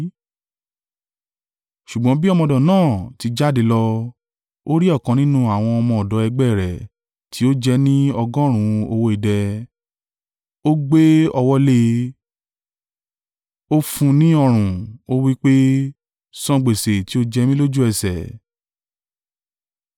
“Ṣùgbọ́n bí ọmọ ọ̀dọ̀ náà ti jáde lọ, ó rí ọ̀kan nínú àwọn ọmọ ọ̀dọ̀ ẹgbẹ́ rẹ̀ tí ó jẹ ẹ́ ní ọgọ́rùn-ún owó idẹ, ó gbé ọwọ́ lé e, ó fún un ní ọrùn, ó wí pé, ‘San gbèsè tí o jẹ mí lójú ẹsẹ̀.’